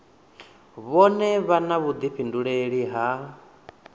vhone vha na vhuḓifhinduleli ha